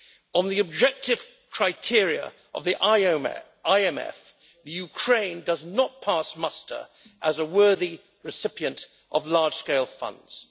On the objective criteria of the IMF, Ukraine does not pass muster as a worthy recipient of large-scale funds.